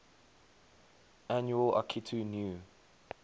annual akitu new